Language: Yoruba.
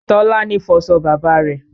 Tọ́lání fọṣọ bàbá rẹ̀